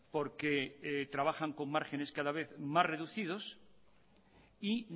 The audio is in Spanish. porque trabajan con márgenes cada vez más reducidos y